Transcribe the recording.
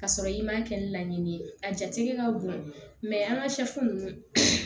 Ka sɔrɔ i m'a kɛ ni laɲini ye a jati ka bon an ka ninnu